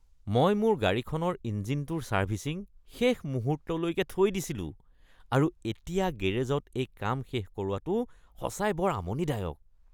মই মোৰ গাড়ীখনৰ ইঞ্জিনটোৰ চাৰ্ভিছিং শেষ মুহূৰ্তলৈ থৈ দিছিলোঁ আৰু এতিয়া গেৰেজত এই কাম শেষ কৰোৱাটো সঁচাকৈ বৰ আমনিদায়ক।